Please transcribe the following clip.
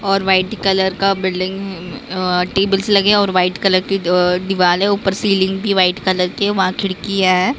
और white colour का building अं अ टेबल्स लगे हैं और व्हाईट कलर की अ दीवार है ऊपर सीलिंग भी व्हाईट कलर के है वहां खिड़की है।